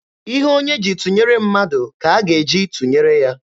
Ihe onye ji tụnyere mmadụ ka a ga-eji tụnyere ya.